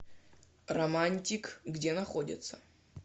романтик где находится